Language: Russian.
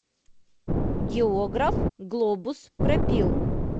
географ глобус пропил